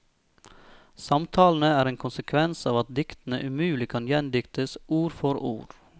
Samtalene er en konsekvens av at diktene umulig kan gjendiktes ord for ord.